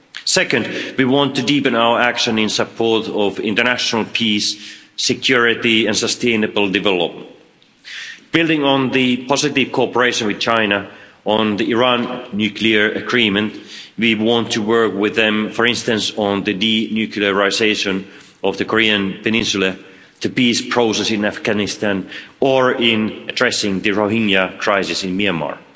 Secondly, we want to deepen our action in support of international peace, security and sustainable development. Building on the positive cooperation with China on the Iran nuclear agreement, we want to work with it, for instance, on the denuclearisation of the Korean Peninsula, the peace process in Afghanistan, or in addressing the Rohingya crisis in Myanmar.